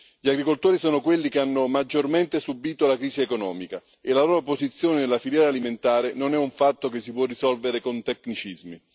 Gli agricoltori sono quelli che hanno maggiormente subito la crisi economica e la loro posizione nella filiera alimentare non è un fatto che si può risolvere con tecnicismi.